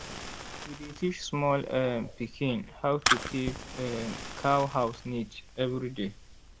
we dey teach small um pikin how to keep um cow house neat every day.